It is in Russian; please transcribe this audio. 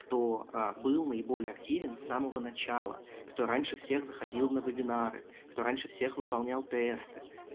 кто ээ был наиболее активен с самого начала кто раньше всех заходил на вебинары кто раньше всех выполнял тесты